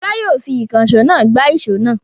Fọlá yóò fi ìkànṣó náà gbá ìṣó náà.